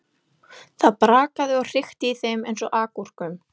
Það brakaði og hrikti í þeim eins og agúrkum.